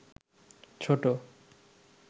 ছোট